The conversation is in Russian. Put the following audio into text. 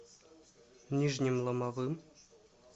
нижним ломовым